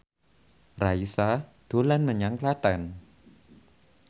Raisa dolan menyang Klaten